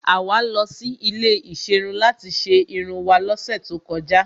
Àwa lọ sí ilé ìserun láti ṣe irun wá lọ́sẹ̀ tó kọjá.